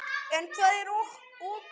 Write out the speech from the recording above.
En hvað er okur?